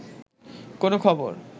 কোনো খবর